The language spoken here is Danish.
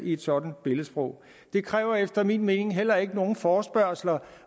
et sådant billedsprog det kræver efter min mening heller ikke nogen forespørgsler